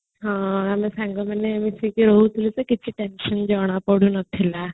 ହଁ ଆମେ ସାଙ୍ଗମାନେ ମିଶିକି ରହୁଥିଲେ ଟା କିଛି time fine ଜଣାପଡୁନଥିଲା